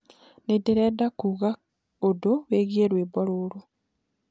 ninderenda kuugaũndu wĩĩgĩe rwĩmbo rũrũ